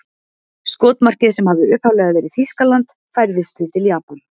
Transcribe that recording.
Skotmarkið sem hafði upphaflega verið Þýskaland færðist því til Japans.